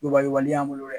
Bayɛlɛbali y'an bolo dɛ